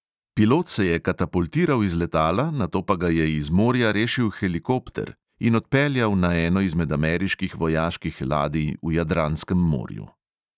Pilot se je katapultiral iz letala, nato pa ga je iz morja rešil helikopter in odpeljal na eno izmed ameriških vojaških ladij v jadranskem morju.